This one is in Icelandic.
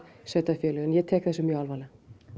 sveitarfélögunum ég tek þessu mjög alvarlega